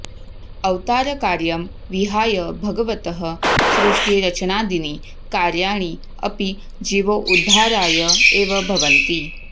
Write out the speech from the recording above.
अवतारकार्यं विहाय भगवतः सृष्टिरचनादीनि कार्याणि अपि जीवोद्धाराय एव भवन्ति